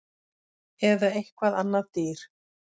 Eða eitthvað annað dýr